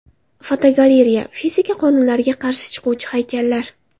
Fotogalereya: Fizika qonunlariga qarshi chiquvchi haykallar.